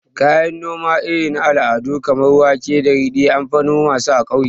Kayan noma irin na al'adu kamar wake da ridi, anfi noma su a ƙauyaku